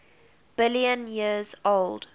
billion years old